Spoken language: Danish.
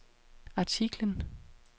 artiklen